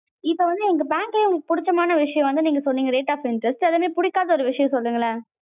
இப்ப வந்து எங்க bank லையே உங்களுக்கு புடிச்சமான விஷயம் வந்து சொன்னிங்க, rate of interest. அதே மாதிரி புடிக்காத ஒரு விஷயம் சொல்லுங்களே.